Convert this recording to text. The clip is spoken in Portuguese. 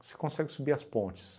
você consegue subir as pontes.